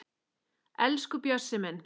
Elsku Bjössi minn